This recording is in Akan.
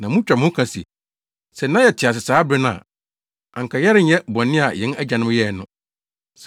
na mutwa mo ho ka se, ‘Sɛ na yɛte ase saa bere no a, anka yɛrenyɛ bɔne a yɛn agyanom yɛe no.’